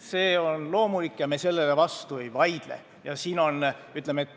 See on loomulik ja sellele me vastu ei vaidle.